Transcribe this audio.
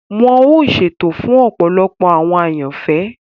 Wọn ọ ṣètò fun ọpọlọpọ awọn àyànfẹ.